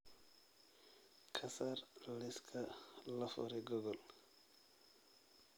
ka saar liiska la furay google